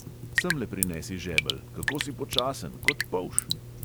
Semle prinesi žebelj, kako si počasen, kot polž!